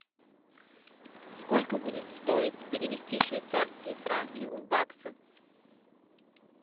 сколько будет стоить перевести швейцарские франки в баксы